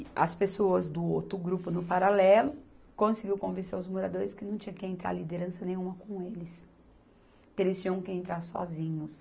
As pessoas do outro grupo no paralelo conseguiu convencer os moradores que não tinha que entrar liderança nenhuma com eles, que eles tinham que entrar sozinhos.